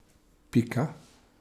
Pika.